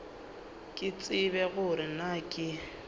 ke tsebe gore na ke